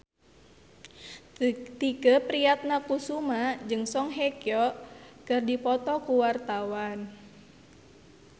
Tike Priatnakusuma jeung Song Hye Kyo keur dipoto ku wartawan